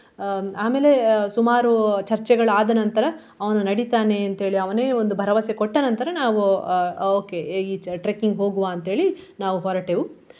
ಅಹ್ ಆಮೇಲೆ ಸುಮಾರು ಚರ್ಚೆಗಳು ಆದ ನಂತರ ಅವನು ನಡಿತಾನೆ ಅಂತೇಳಿ ಅವನೇ ಒಂದು ಭರವಸೆ ಕೊಟ್ಟ ನಂತರ ನಾವು ಆ okay ಈ ಚ~ trekking ಹೋಗುವ ಅಂತೇಳಿ ನಾವು ಹೊರಟೆವು.